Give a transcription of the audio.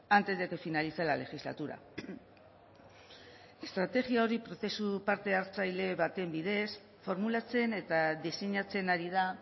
antes de que finalice la legislatura estrategia hori prozesu parte hartzaile baten bidez formulatzen eta diseinatzen ari da